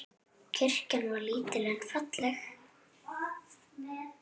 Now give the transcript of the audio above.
Kirkjan var lítil en falleg.